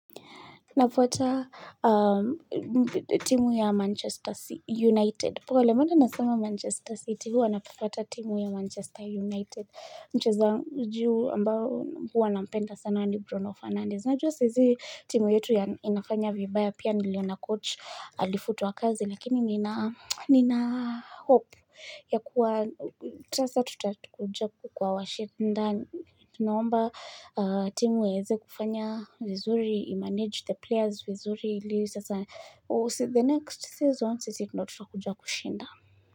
Nafuata timu ya Manchester United. Pole mbona nasama Manchester City huwa nafuata timu ya Manchester United. Mchezaji ambao huwa nampenda sana ni Bruno Fernandez. Najua saizi timu yetu ya inafanya vibaya pia niliona coach alifutwa kazi. Lakini nina hope ya kuwa tasa tutakuja kuwawashnda Tunaomba timu iweze kufanya vizuri, i-manage the players vizuri The next season, sisi ndo tutakuja kushinda.